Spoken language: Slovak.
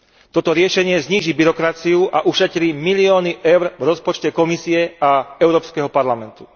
Toto riešenie zníži byrokraciu a ušetrí milióny eur v rozpočte Komisie a Európskeho parlamentu.